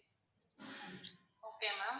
okay ma'am